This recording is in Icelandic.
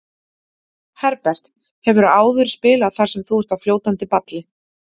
Herbert, hefurðu áður spilað þar sem þú ert á fljótandi balli?